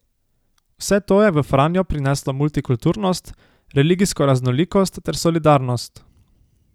Vse to je v Franjo prineslo multikulturnost, religijsko raznolikost ter solidarnost.